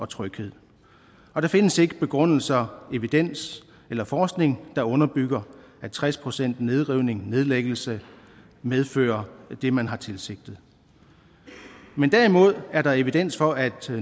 tryghed der findes ikke begrundelser evidens eller forskning der underbygger at tres procent nedrivning nedlæggelse medfører det man har tilsigtet men derimod er der evidens for at